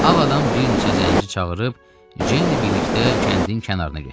Ağ adam bir neçə zəncini çağırıb Ceynlə birlikdə kəndin kənarına getdi.